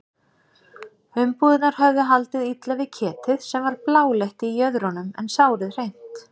Umbúðirnar höfðu haldið illa við ketið sem var bláleitt í jöðrunum en sárið hreint.